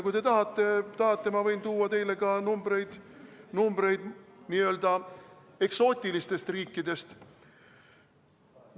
Kui te tahate, siis ma võin tuua teile ka numbreid n-ö eksootiliste riikide kohta.